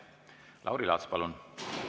Lauri Laats, palun!